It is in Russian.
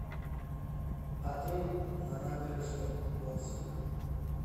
отель на набережной отзывы